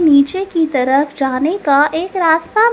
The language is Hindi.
नीचे की तरफ जाने का एक रास्ता--